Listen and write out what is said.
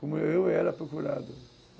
Como eu era procurado.